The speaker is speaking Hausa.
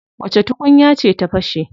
Wace tukunya ce ta fashe?